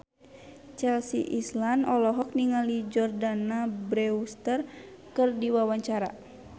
Chelsea Islan olohok ningali Jordana Brewster keur diwawancara